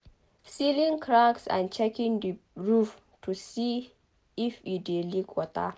sealing cracks and checking the roof to see if e dey leak water